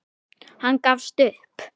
Hann gafst upp.